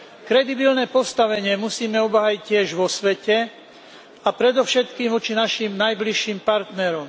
Kredibilné postavenie musíme obhájiť tiež vo svete a predovšetkým voči našim najbližším partnerom.